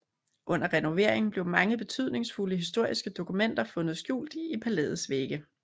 Under renovering blev mange betydningsfulde historiske dokumenter fundet skjult i palæets vægge